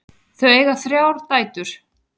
Þau eiga þrjár dætur.